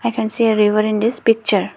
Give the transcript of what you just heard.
i can see a river in this picture.